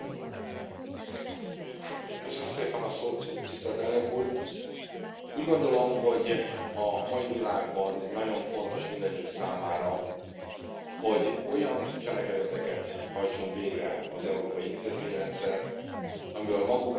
Elnök Úr, úgy gondolom, hogy a mai világban nagyon fontos mindannyiunk számára, hogy olyan cselekedeteket hajtson végre az európai intézményrendszer, amiből maguk az állampolgárok is érzik, hogy velük most valami jó történik.